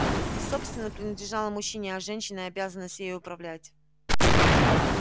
собственно принадлежала мужчине а женщине обязанность ей управлять